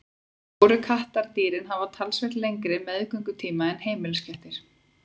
Stóru kattardýrin hafa talsvert lengri meðgöngutíma en heimiliskettir.